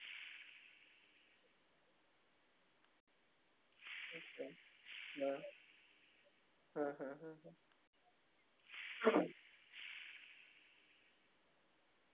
म्हणजे thirty five thousand तुम्हाला pay करावे लागेल मी जसे कि मगाशी तुम्हाला म्हणले पाच हजार रुपये तुम्हाला extra दयावे लागतील त्यामुळे मग जेव्हा delivery boy तुमच्या कडे इल त्यांच्या बरोबर आमचा एक agent पण असेल